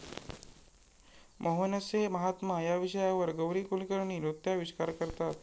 मोहनसे महात्मा' या विषयावर गौरी कुलकर्णी नृत्याविष्कार करतात.